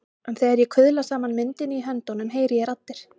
En þegar ég kuðla saman myndinni í höndunum heyri ég raddir.